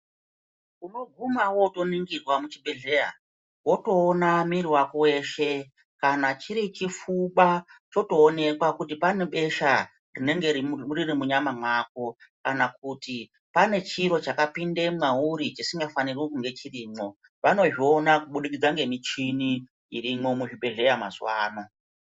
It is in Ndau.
Unobvuma wotoningirwa muchibhedhleya wotoona muwiri wako weshe kana chiri chipfuva chotoningirwa kuti pane besha rinenge riri munyama mwako kana kuti pane chiro chakapinde mwauri chisingafanirwi kunge chirimo vanozviona kubudikitsa nemuchini iri muzvibhedhleya mazuva ano.